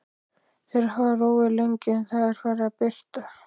Þeir hafa róið lengi og Það er farið að birta.